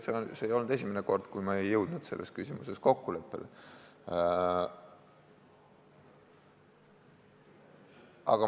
See ei olnud esimene kord, kui me ei jõudnud selles küsimuses kokkuleppele.